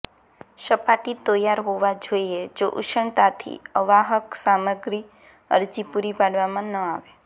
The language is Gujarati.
સપાટી તૈયાર હોવા જોઈએ જો ઉષ્ણતાથી અવાહક સામગ્રી અરજી પૂરી પાડવામાં ન આવે